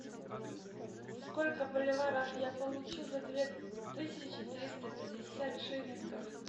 сколько боливаров я получу за две тысячи триста пятьдесят шиллингов